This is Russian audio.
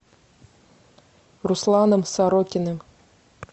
русланом сорокиным